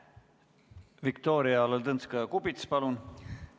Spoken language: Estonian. Viktoria Ladõnskaja-Kubits, palun!